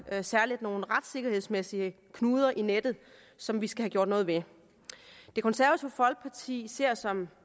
der særligt nogle retssikkerhedsmæssige knuder i nettet som vi skal have gjort noget ved det konservative folkeparti ser som